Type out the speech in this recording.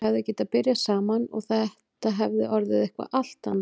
Þau hefðu getað byrjað saman og það hefði orðið eitthvað allt annað.